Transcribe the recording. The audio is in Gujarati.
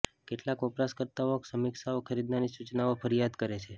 કેટલાક વપરાશકર્તાઓ સમીક્ષાઓ ખરીદનારની સૂચનાઓ ફરિયાદ કરે છે